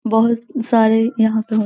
बहोत सारे यहाँ पे होत --